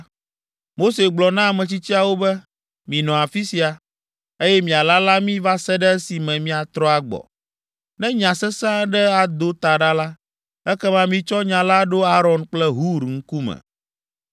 Mose gblɔ na ametsitsiawo be, “Minɔ afi sia, eye mialala mí va se ɖe esime míatrɔ agbɔ. Ne nya sesẽ aɖe ado ta ɖa la, ekema mitsɔ nya la ɖo Aron kple Hur ŋkume.”